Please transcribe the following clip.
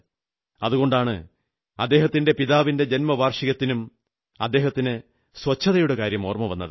അതുകൊണ്ടാണ് അദ്ദേഹത്തിന്റെ പിതാവിന്റെ ജന്മവാർഷികത്തിനും അദ്ദേഹത്തിന് ശുചിത്വത്തിന്റെ കാര്യം ഓർമ്മവന്നത്